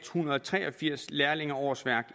hundrede og tre og firs lærlingeårsværk